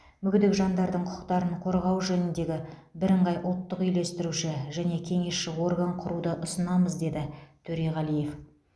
мүгедек жандардың құқықтарын қорғау жөніндегі бірыңғай ұлттық үйлестіруші және кеңесші орган құруды ұсынамыз деді төреғалиев